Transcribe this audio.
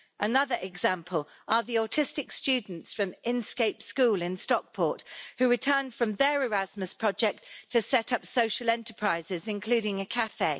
Another example are the autistic students from Inscape School in Stockport who returned from their Erasmus project to set up social enterprises, including a café.